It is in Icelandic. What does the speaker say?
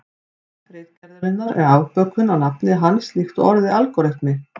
Nafn ritgerðarinnar er afbökun á nafni hans líkt og orðið algóritmi.